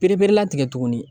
Pereperelatigɛ tuguni